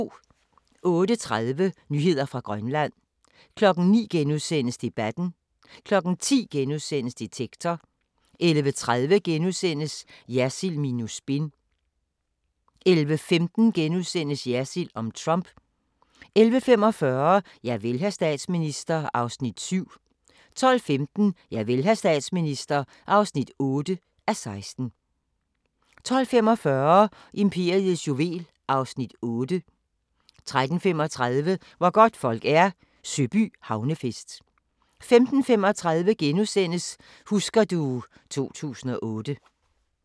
08:30: Nyheder fra Grønland 09:00: Debatten * 10:00: Detektor * 10:30: Jersild minus spin * 11:15: Jersild om Trump * 11:45: Javel, hr. statsminister (7:16) 12:15: Javel, hr. statsminister (8:16) 12:45: Imperiets juvel (Afs. 8) 13:35: Hvor godtfolk er – Søby Havnefest 15:35: Husker du ... 2008 *